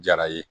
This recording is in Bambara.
Diyara n ye